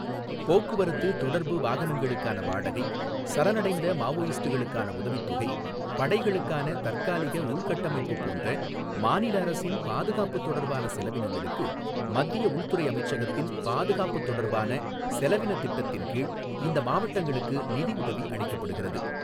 போக்குவரத்து, தொடர்பு, வாகனங்களுக்கான வாடகை, சரணடைந்த மாவோயிஸ்டுகளுக்கான உதவித்தொகை, படைகளுக்கான தற்காலிக உள்கட்டமைப்பு போன்ற மாநிலஅரசின் பாதுகாப்பு தொடர்பான செலவினங்களுக்கு மத்திய உள்துறை அமைச்சகத்தின் பாதுகாப்பு தொடர்பான செலவினத் திட்டத்தின் கீழ் இந்த மாவட்டங்களுக்கு நிதிஉதவி அளிக்கப்படுகிறது.